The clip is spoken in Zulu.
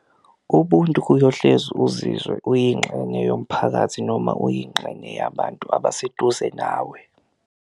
Ubuntu kuyohlezi uzizwe uyinxenye yomphakathi noma uyinxenye yabantu abaseduze nawe.